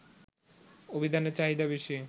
অভিধানের চাহিদা বেশি